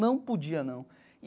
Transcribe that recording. Não podia, não.